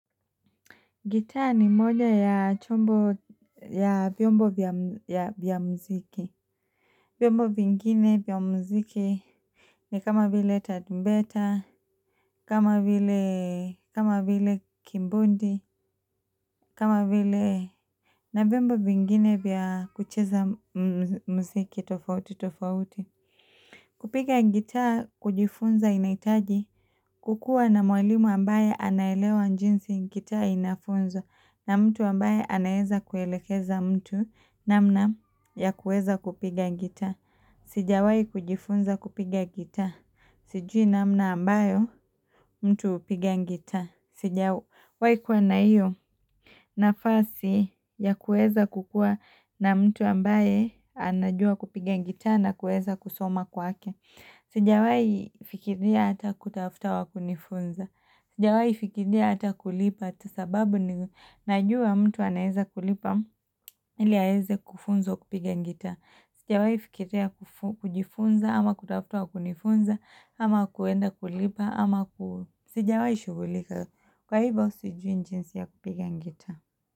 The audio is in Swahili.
Gitaa ni moja ya chombo ya vyombo vya mziki. Vyombo vingine vya mziki ni kama vile tarumbeta, kama vile kimbodi, kama vile na vyombo vingine vya kucheza mziki tofauti tofauti. Kupiga gitaa kujifunza inahitaji kukuwa na mwalimu ambaye anaelewa jinsi gitaa inafunzwa na mtu ambaye anaeza kuelekeza mtu namna ya kuweza kupiga gitaa. Sijawai kujifunza kupiga gitaa. Siju namna ambayo mtu hupiga gitaa. Sijawai kuwa na hiyo nafasi ya kuweza kukua na mtu ambaye anajua kupiga gitaa na kuweza kusoma kwake. Sijawai fikiria hata kutafuta wa kunifunza. Sijawai fikiria hata kulipa sababu ninajua mtu anaeza kulipa ili aeze kufunzwa kupiga gitaa. Sijawai fikiria kujifunza ama kutafuta wa kunifunza ama kuenda kulipa ama ku Sijawai shughulika Kwa hivyo sijui jinsi ya kupiga gitaa.